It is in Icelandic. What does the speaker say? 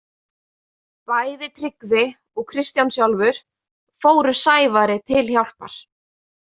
Bæði Tryggvi og Kristján sjálfur fóru Sævari til hjálpar.